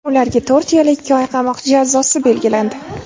Ularga to‘rt yil ikki oy qamoq jazosi belgilandi.